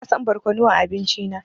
Bana son barkonu a abinci na.